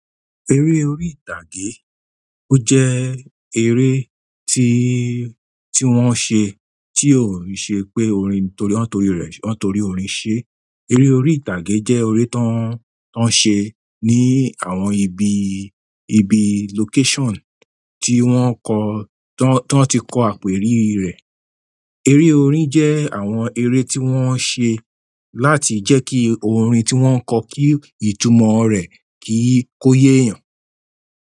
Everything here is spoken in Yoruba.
Eré orí ìtàgé ó jé eré tí, tí wón se tí ò se pé wón torí orin sé. Eré orí ìtàgé jẹ́ eré tán, tán ṣe ní àwọn ibi, ibi location tí wọ́n kọ, tí wọ́n ti kọ àpèrí rẹ̀. Eré orin jẹ́ àwọn eré tí wọ́n ṣe láti jẹ́ kí orin tí wọ́n kọ kí ìtumọ̀ rẹ̀ kí ó yé èèyàn.